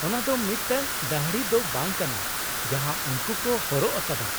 ᱚᱱᱟ ᱫᱚ ᱢᱤᱫᱴᱟᱝ ᱫᱟᱹᱲᱦᱤ ᱫᱚ ᱵᱟᱝ ᱠᱟᱱᱟ, ᱡᱟᱦᱟᱸ ᱩᱱᱠᱩ ᱠᱚ ᱦᱚᱨᱚᱜ ᱟᱠᱟᱫᱟ ?